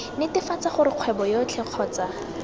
netefatsa gore kgwebo yotlhe kgotsa